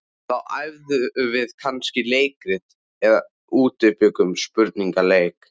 Þá æfðum við kannski leikrit eða útbjuggum spurningaleik.